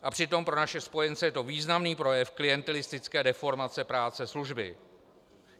A přitom pro naše spojence je to významný projev klientelistické deformace práce služby.